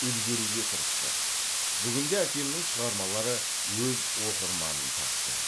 үлгеруге тырысты бүгінде әкемнің шығармалары өз оқырманын тапты